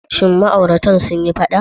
Shin ma'auratan sun yi faɗa?